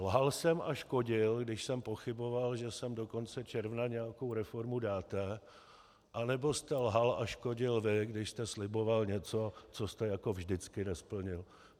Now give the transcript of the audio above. Lhal jsem a škodil, když jsem pochyboval, že sem do konce června nějakou reformu dáte, anebo jste lhal a škodil vy, když jste sliboval něco, co jste jako vždycky nesplnil?